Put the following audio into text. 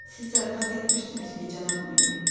Siz zarafat etmirsiniz ki, cənab Monyer.